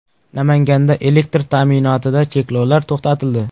Namanganda elektr ta’minotida cheklovlar to‘xtatildi.